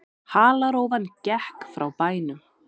Halarófan gekk frá bænum.